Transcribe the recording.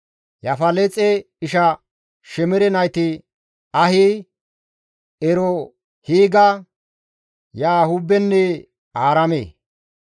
Yaafaleexe isha Shemere nayti Ahi, Erohiiga, Yahuubenne Aaraame.